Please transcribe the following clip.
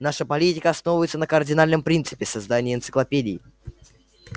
наша политика основывается на кардинальном принципе создании энциклопедии